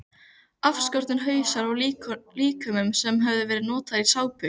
Afskornir hausar af líkömum sem höfðu verið notaðir í sápur.